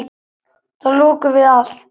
Þá lokuðum við á allt.